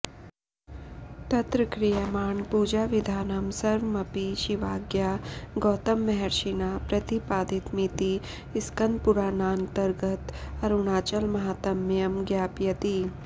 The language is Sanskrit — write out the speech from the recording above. तत्र क्रियमाण पूजाविधानं सर्वमपि शिवाज्ञया गौतममहर्षिणा प्रतिपादितमिति स्कन्दपुराणान्तर्गत अरुणाचलमाहात्म्यं ज्ञापयति